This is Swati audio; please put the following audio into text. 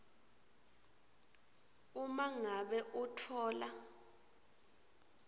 uma ngabe utfola